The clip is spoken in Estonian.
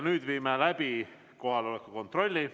Nüüd teeme kohaloleku kontrolli.